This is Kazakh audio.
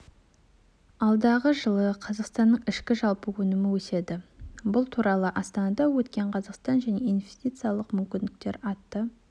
алдағы жылы қазақстанның ішкі жалпы өнімі өседі бұл туралы астанада өткен қазақстан жаңа инвестициялық мүмкіндіктер атты